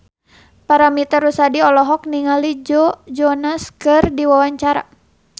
Paramitha Rusady olohok ningali Joe Jonas keur diwawancara